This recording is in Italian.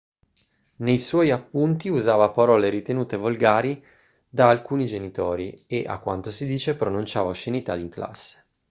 nei suoi appunti usava parole ritenute volgari da alcuni genitori e a quanto si dice pronunciava oscenità in classe